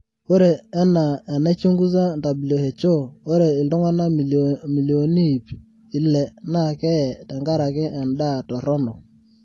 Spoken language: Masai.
ore enaa enaichunguza WHO ore iltungana milioni iip ile na keye tenkaraki endaa toronok